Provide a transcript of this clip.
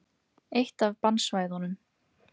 Eitt af bannsvæðunum.